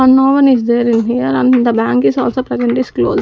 and no one is there in here and the bank is also present is .